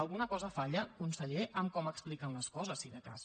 alguna cosa falla conseller amb com expliquen les coses si de cas